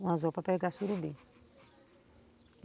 Um anzol para pegar surubim.